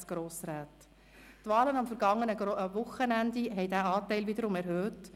Die Wahlen am vergangenen Wochenende haben diesen Anteil wiederum erhöht: